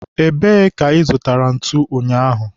ebee ka ị zụtara ntu ụnyaahụ?